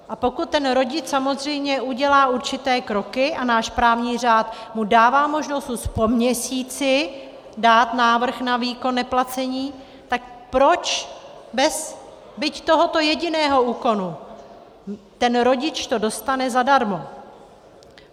A pokud ten rodič samozřejmě udělá určité kroky, a náš právní řád mu dává možnost už po měsíci dát návrh na výkon neplacení, tak proč bez byť tohoto jediného úkolu ten rodič to dostane zadarmo.